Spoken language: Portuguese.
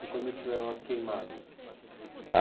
Foi quando tiveram as queimadas?